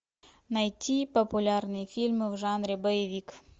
найти популярные фильмы в жанре боевик